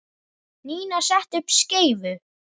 Nína setti upp skeifu.